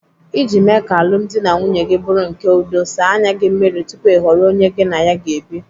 Iji mee ka alụmdi na nwunye gị bụrụ nke udo, saa anya gị mmiri tupu ị họrọ onye gị na ya ga-ebi.